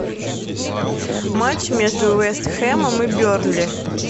матч между вест хэмом и бернли